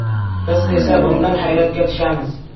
Biz esa bundan hayratga tushamiz” .